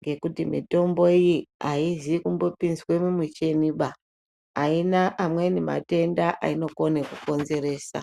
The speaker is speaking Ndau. ngekuti mitombo iyi aizi kumbopinzwa mumuchini ba. Aina amweni matenda ainokona kukonzeresa.